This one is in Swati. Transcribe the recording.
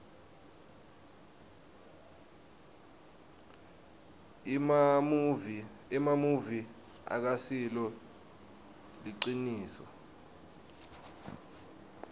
emamuvi akasilo liciniso